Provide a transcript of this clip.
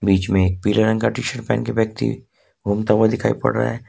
बीच में एक पीले रंग का टी शर्ट पहन के व्यक्ति घूमता हुआ दिखाई दे रहा है।